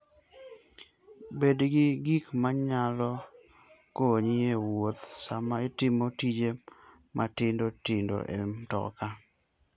Bed gi gik manyalo konyi e wuoth sama itimo tije matindo tindo e mtoka.